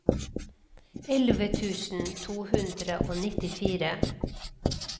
elleve tusen to hundre og nittifire